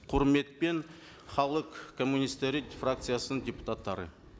құрметпен халық коммунисттері фракциясының депутаттары